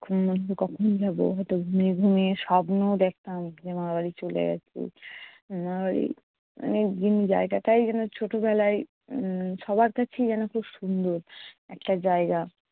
কখন যাবো? হয়ত ঘুমিয়ে ঘুমিয়ে স্বপ্নও দেখতাম যে মামার বাড়ি চলে গেছি। মামার বাড়ি মানে দিন জায়গাটায় যেনো ছোটবেলায় উম সবার কাছেই যেনো খুব সুন্দর একটা জায়গা।